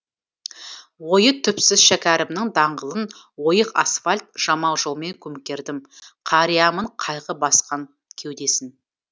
ойы түпсіз шәкәрімнің даңғылын ойық асфальт жамау жолмен көмкердім қариямын қайғы басқан кеудесін